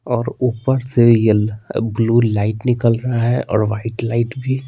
और ऊपर से येलो ब्लू लाइट निकल रहा है और वाइट लाइट भी।